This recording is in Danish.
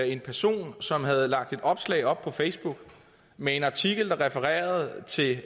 en person som havde lagt et opslag op på facebook med en artikel der refererer til